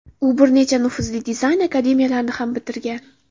U bir nechta nufuzli dizayn akademiyalarini ham bitirgan.